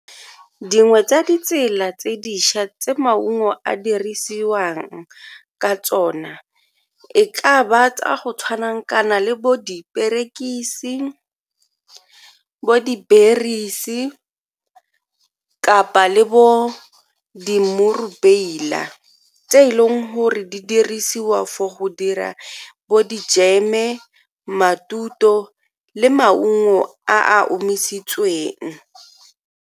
Dingwe tsa ditsela tse dintšha tse maungo a dirisiwang ka tsona e ka ba tsa go tshwana kana le bo diperekisi, bo di-berries-e kapa le bo di mmurubeila tse e leng gore di dirisiwa fo go dira bo dijeme, le maungo a a omisitsweng.